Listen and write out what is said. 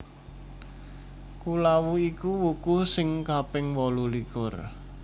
Kulawu iku wuku sing kaping wolulikur